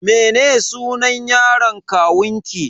Mene sunan yaron kawunki?